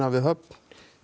við